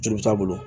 Joli t'a bolo